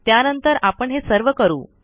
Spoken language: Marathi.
त्यानंतर आपण हे सर्व करू